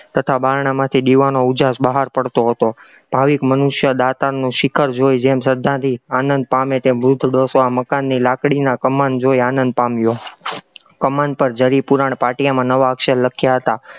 તથા બારણામાંથી દીવાનો ઉજાસ બહાર પડતો હતો, ભાવીક મનુષ્ય જેમ દાતારનું શિખર જોઈ જેમ શ્રદ્ધાથી આનંદ પામે તેમ વૃદ્ધ ડોસો આ મકાનની લાકડીના કમાન જોઈ આનંદ પામ્યો, કમાન પર જરી પુરાણ પાટિયા પર નવા અક્ષર લખ્યા હતા,